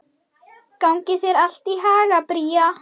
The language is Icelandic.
Gangi þér allt í haginn, Bría.